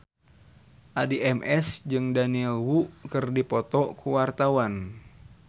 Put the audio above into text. Addie MS jeung Daniel Wu keur dipoto ku wartawan